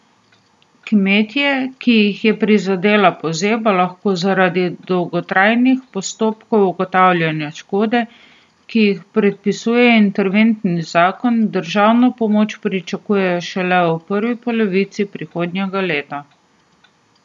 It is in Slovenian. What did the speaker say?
Kmetje, ki jih je prizadela pozeba, lahko zaradi dolgotrajnih postopkov ugotavljanja škode, ki jih predpisuje interventni zakon, državno pomoč pričakujejo šele v prvi polovici prihodnjega leta.